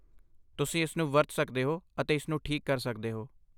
ਤੁਸੀਂ ਇਸਨੂੰ ਵਰਤ ਸਕਦੇ ਹੋ ਅਤੇ ਇਸਨੂੰ ਠੀਕ ਕਰ ਸਕਦੇ ਹੋ।